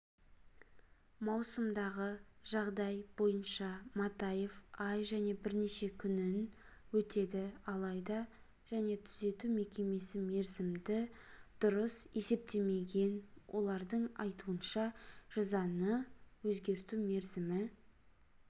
маусымдағы жағдай бойынша матаев ай және бірнеше күнін өтеді алайда және түзету мекемесі мерзімді дұрыс есептемеген олардың айтуынша жазаны өзгерту мерзімі